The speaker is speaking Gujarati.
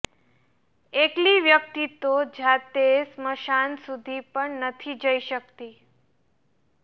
એકલી વ્યક્તિ તો જાતે સ્મશાન સુધી પણ નથી જઈ શકતી